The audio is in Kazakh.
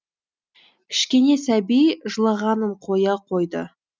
кішкене сәби жылағанын қоя қойды